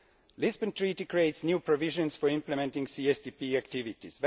The Lisbon Treaty creates new provisions for implementing CSDP activities.